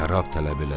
Şərab tələb elədilər.